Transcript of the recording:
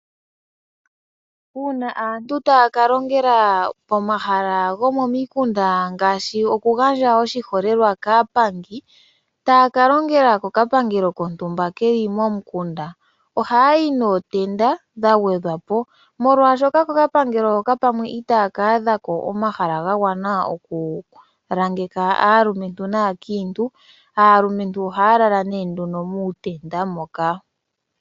Uuna aantu taya ka longela pomahala gomomikunda, oshiholelwa aapangi taya ka longela kokapangelo kontumba ke li momukunda ohaya yi nootenda dha gwedwa po, molwashoka pamwe kokapangelo hoka itaya ka adhako omahala ga gwana okulangeka aalumentu naakiintu. Aalumentu ohaya lala nduno muutenda moka.